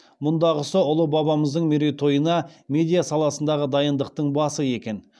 мұндағысы ұлы бабамыздың мерейтойына медиа саласындағы дайындықтың басы екен